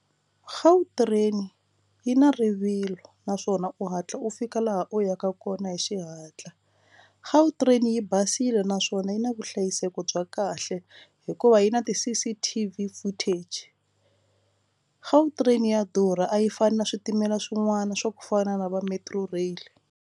gautrain yi na rivilo naswona u hatla u fika laha u yaka kona hi xihatla gautrain yi basile naswona yi na vuhlayiseki bya kahle hikuva yi na ti C_C_T_V footage gautrain ya durha a yi fani na switimela swin'wana swa ku fana na vo Metro rail.